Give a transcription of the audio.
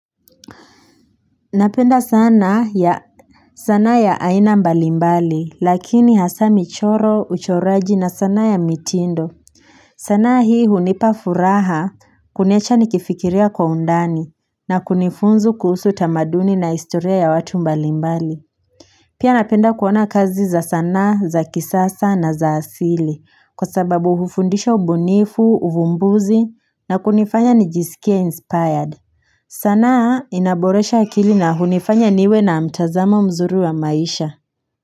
Napenda sanaa ya aina mbali mbali, lakini hasa michoro, uchoraji na sanaa ya mitindo. Sanaa hii hunipafuraha kuniacha nikifikiria kwa undani, na kunifunzu kuhusu tamaduni na istoria ya watu mbali mbali. Pia napenda kuona kazi za sanaa, za kisasa na za asili, kwa sababu hufundisha ubunifu, uvumbuzi, na kunifanya nijisikie inspired. Sanaa inaboresha akili na hunifanya niwe na mtazamo mzuri wa maisha.